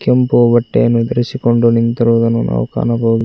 ಕೆಂಪು ಬಟ್ಟೆಯನ್ನು ಧರಿಸಿಕೊಂಡು ನಿಂತಿರುವುದನ್ನು ನಾವು ಕಾಣಬಹುದು.